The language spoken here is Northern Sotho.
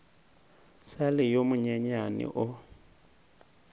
sa le yo monyenyane o